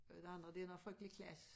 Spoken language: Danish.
Det andet det noget frygtelig klask